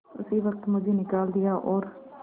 उसी वक्त मुझे निकाल दिया और